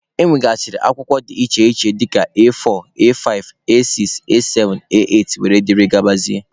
E nwere saịzị akwụkwọ dị iche iche dịka A4, A5,A6,A7,A8 wdg.